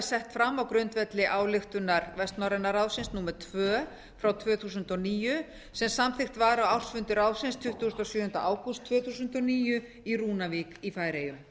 sett fram á grundvelli ályktunar vestnorræna ráðsins númer tvö tvö þúsund og níu sem samþykkt var á ársfundi ráðsins tuttugasta og sjöunda ágúst tvö þúsund og níu í rúnavík í færeyjum